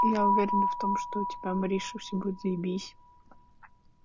я уверена в том что у тебя мариша всё будет заебись